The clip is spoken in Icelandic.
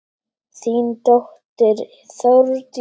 Þín dóttir Þórdís.